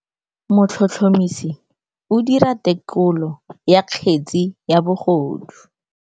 Motlhotlhomisi o dira têkolô ya kgetse ya bogodu.